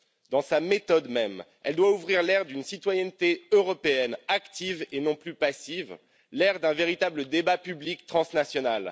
Dans sa méthode même, elle doit ouvrir l'ère d'une citoyenneté européenne active et non plus passive, l'ère d'un véritable débat public transnational.